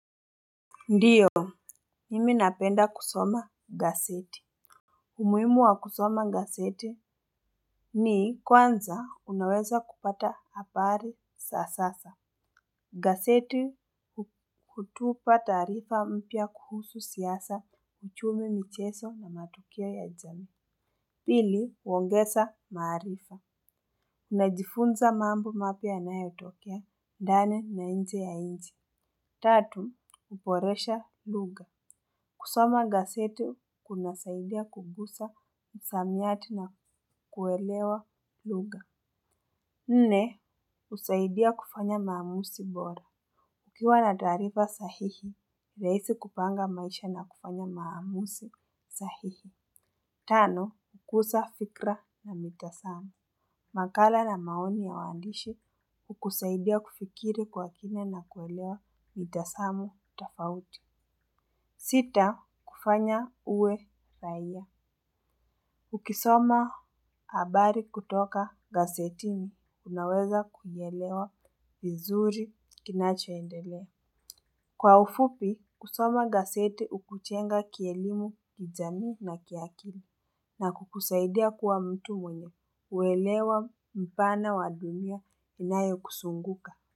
Ndiyo, mimi napenda kusoma gazeti. Umuhimu wa kusoma gaseti. Ni kwanza unaweza kupata habari sasasa. Gaseti kutupa taarifa mpya kuhusu siasa uchumi micheso na matukio ya jamii. Pili, uongesa maarifa. Unajifunza mambo mapya yanayotokea, ndani na nje ya nchi. Tatu, huboresha lugha. Kusoma gaseti kunasaidia kukusa msamiati na kuelewa lugha. Nne, husaidia kufanya maamusi bora. Ukiwa na taarifa sahihi, rahisi kupanga maisha na kufanya maamusi sahihi. Tano, kukusa fikra na mitasamo. Makala na maoni ya waandishi, husaidia kufikiri kwa kina na kuelewa mitasamo tafauti. Sita, kufanya uwe raia. Ukisoma habari kutoka gasetini, unaweza kuielewa vizuri kinachoendelea. Kwa ufupi, kusoma gaseti hukujenga kielimu kijamii na kiakili. Na kukusaidia kuwa mtu mwenye uelewa mpana wa dunia inayokusunguka.